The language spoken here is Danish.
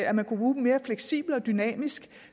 at man kunne bruge dem mere fleksibelt og dynamisk